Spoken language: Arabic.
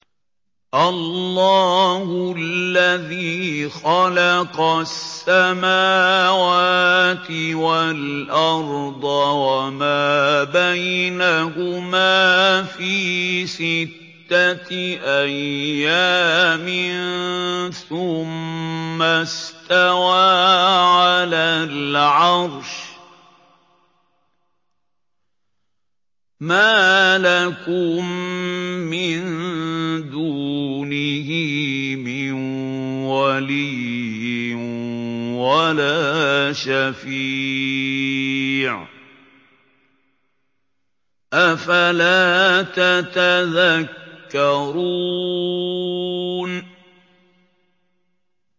اللَّهُ الَّذِي خَلَقَ السَّمَاوَاتِ وَالْأَرْضَ وَمَا بَيْنَهُمَا فِي سِتَّةِ أَيَّامٍ ثُمَّ اسْتَوَىٰ عَلَى الْعَرْشِ ۖ مَا لَكُم مِّن دُونِهِ مِن وَلِيٍّ وَلَا شَفِيعٍ ۚ أَفَلَا تَتَذَكَّرُونَ